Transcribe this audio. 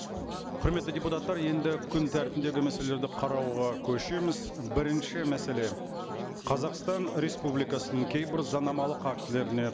құрметті депутаттар енді күн тәртібіндегі мәселелерді қарауға көшеміз бірінші мәселе қазақстан республикасының кейбір заңнамалық актілеріне